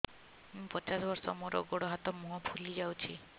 ମୁ ପଚାଶ ବର୍ଷ ମୋର ଗୋଡ ହାତ ମୁହଁ ଫୁଲି ଯାଉଛି